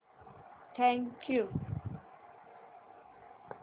thank you